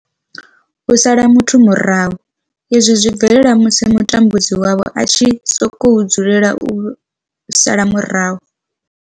U sala muthu murahu, izwi zwi bvelela musi mutambudzi wavho a tshi sokou dzulela u vha sala murahu.